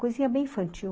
Coisinha bem infantil.